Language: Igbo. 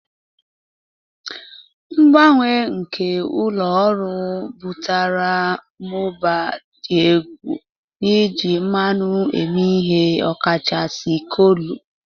Mgbanwe nke ụlọ ọrụ butere mmụba dị egwu n'iji mmanụ eme ihe, ọkachasị kolu.